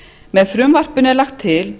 með frumvarpinu er lagt til